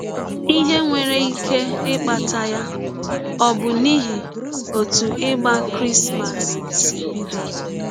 Ihe nwere ike ịkpata ya ọ̀ bụ n’ihi ọtụ ịgba Krismas sị bidọ?